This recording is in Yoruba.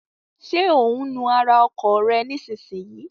Ṣé ò ń nu ara ọkọ̀ rẹ nísinsìnyí?